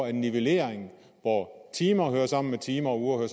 en nivellering hvor timer hører sammen med timer og uger